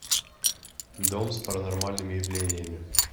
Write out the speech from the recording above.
дом с паранормальными явлениями